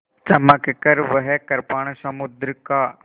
चमककर वह कृपाण समुद्र का